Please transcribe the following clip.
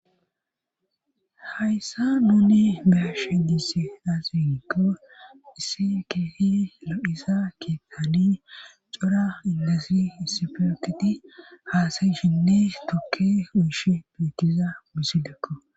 Hayssa nuuni beashe diisi aasiigo issi keefi lo'isa kitani cora indasi issifiytti haasayishinne tukke uyshe bitiza bisi dekko.